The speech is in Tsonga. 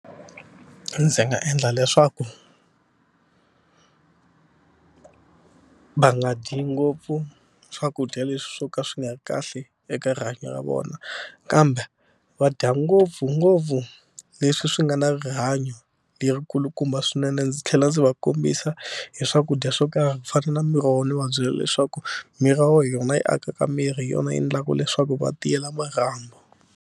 Ndzi nga endla leswaku va nga dyi ngopfu swakudya leswi swo ka swi nga kahle eka rihanyo ra vona kambe va dya ngopfungopfu leswi swi nga na rihanyo lerikulukumba swinene ndzi tlhela ndzi va kombisa hi swakudya swo karhi ku fana na miroho ni va byela leswaku miroho hi yona yi akaka miri hi yona yi endlaka leswaku va tiyela marhambu.